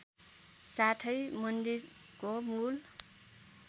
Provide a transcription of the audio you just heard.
साथै मन्दिरको मूल